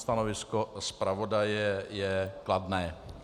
Stanovisko zpravodaje je kladné.